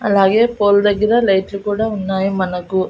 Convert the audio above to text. అలాగే పోల్ దగ్గర లైట్ లు కూడా ఉన్నాయి మనకి.